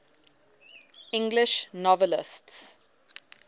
english novelists